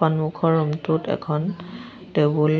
সন্মুখৰ ৰুমটোত এখন টেবুল